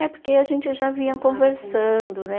É porque a gente já vinha conversando, né?